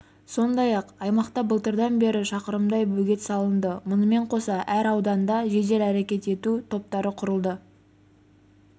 сондай-ақ аймақта былтырдан бері шақырымдай бөгет салынды мұнымен қоса әр ауданда жедел әрекет ету топтары құрылды